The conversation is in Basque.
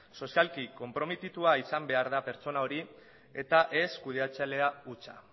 sozialki konprometitua izan behar da pertsona hori eta ez kudeatzailea hutsa